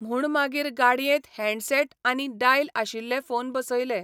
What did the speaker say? म्हूणमागीर गाडयेंत हँडसेटआनी डायल आशिल्ले फोन बसयले.